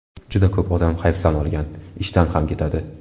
Juda ko‘p odam hayfsan olgan, ishdan ham ketadi.